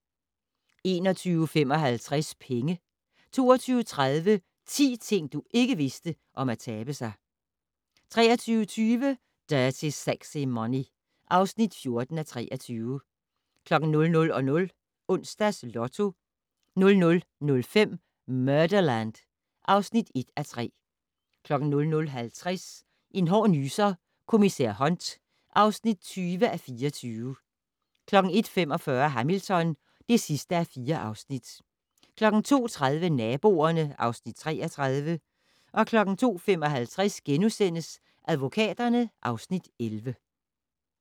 21:55: Penge 22:30: 10 ting, du ikke vidste om at tabe sig 23:20: Dirty Sexy Money (14:23) 00:00: Onsdags Lotto 00:05: Murderland (1:3) 00:50: En hård nyser: Kommissær Hunt (20:24) 01:45: Hamilton (4:4) 02:30: Naboerne (Afs. 33) 02:55: Advokaterne (Afs. 11)*